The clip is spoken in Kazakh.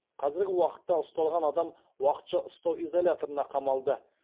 қазіргі уақытта ұсталған адам уақытша ұстау изоляторына қамалды